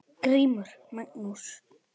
GRÍMUR: Magnús!